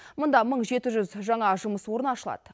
мұнда мың жеті жүз жаңа жұмыс орны ашылады